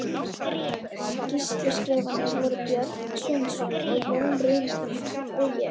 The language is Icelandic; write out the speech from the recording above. Sýsluskrifararnir voru Björn Sveinsson, Jón Runólfsson og ég.